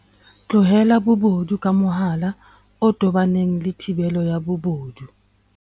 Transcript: Tlaleha bobodu ka mohala o tobaneng le thibelo ya bobodu.